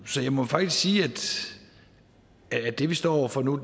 så jeg må faktisk sige at det vi står over for nu